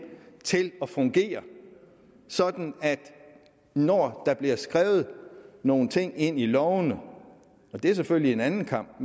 til at fungere sådan at når der bliver skrevet nogle ting ind i lovene og det er selvfølgelig en anden kamp